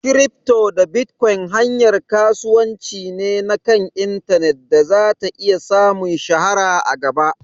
Kirifto da bitkon hanyar kasuwanci ne na kan intanet da zata iya samun shahara a gaba